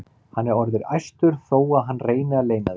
Hann er orðinn æstur þó að hann reyni að leyna því.